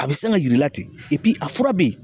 A bɛ san ka yir'i la ten a fura bɛ ye.